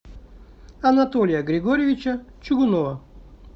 анатолия григорьевича чугунова